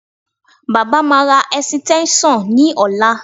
Baba máa ra ẹ̀sìtẹ́ńṣọ̀n ní ọ̀la